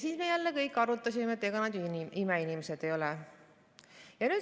Siis me jälle kõik arutasime, et ega nad ju imeinimesed ei ole.